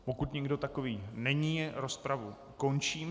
Pokud nikdo takový není, rozpravu končím.